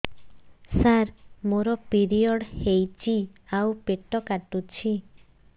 ସାର ମୋର ପିରିଅଡ଼ ହେଇଚି ଆଉ ପେଟ କାଟୁଛି